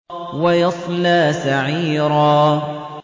وَيَصْلَىٰ سَعِيرًا